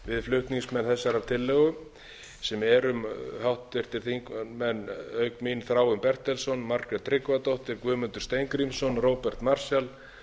flutningsmenn þessarar tillögum sem erum háttvirtum þingmönnum auk mín þráinn bertelsson margrét tryggvadóttir guðmundur steingrímsson róbert marshall